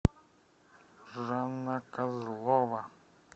жанна козлова